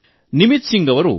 Nimit G B